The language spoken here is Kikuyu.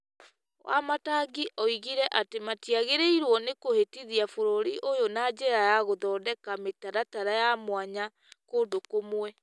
Wamatangi oigire atĩ, matiagĩrĩirwo nĩ kũhĩtithia bũrũri ũyũ na njĩra ya gũthondeka mitaratara ya mwanya kũndũ kũmwe.